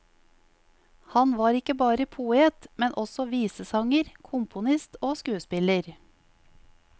Han var ikke bare poet, men også visesanger, komponist og skuespiller.